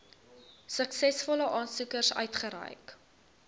suksesvolle aansoekers uitgereik